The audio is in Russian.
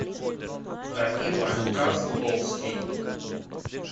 данила козловский